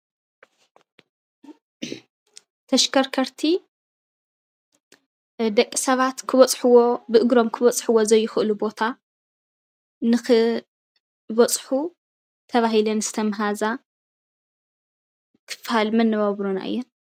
ተሽከርከርቲ ደቂ ሰባት ክበፅሕዎ ብእግሮም ክበፅሕዎ ዘይክእሉ ቦታ ንክበፅሑ ተባሂለን ዝተመሃዛ ክፋል መነባብሮና እየን፡፡